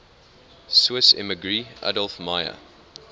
swiss emigree adolf meyer